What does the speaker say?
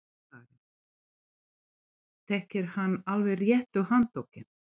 Karen: Þekkir hann alveg réttu handtökin?